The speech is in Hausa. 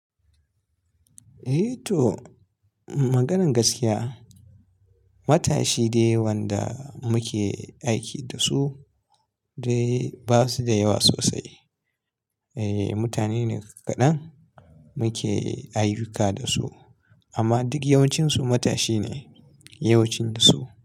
Eh to, maganan gaskiya, matashi dai wanda muke aiki da su dai ba su da yawa sosai. Eh, mutane ne kaɗan muke ayyuka da su amma duk yawancinsu matashi ne yawancinsu.